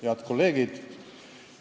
Head kolleegid!